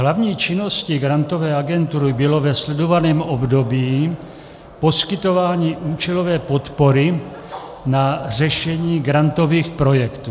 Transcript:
Hlavní činnosti Grantové agentury bylo ve sledovaném období poskytování účelové podpory na řešení grantových projektů.